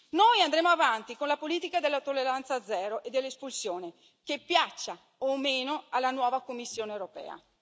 Noi andremo avanti con la politica della tolleranza zero e delle espulsioni, che piaccia o meno alla nuova Commissione europea.